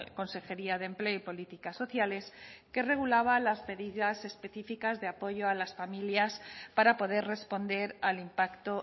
consejería de empleo y políticas sociales que regulaban las medidas específicas de apoyo a las familias para poder responder al impacto